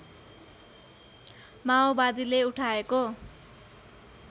माओवादीले उठाएको